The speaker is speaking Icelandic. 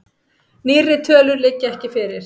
Nýrri tölur liggja ekki fyrir.